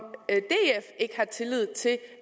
ikke har tillid til